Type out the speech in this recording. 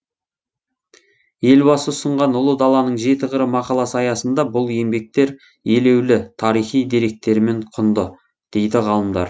елбасы ұсынған ұлы даланың жеті қыры мақаласы аясында бұл еңбектер елеулі тарихи деректерімен құнды дейді ғалымдар